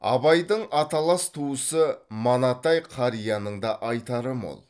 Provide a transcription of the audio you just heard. абайдың аталас туысы манатай қарияның да айтары мол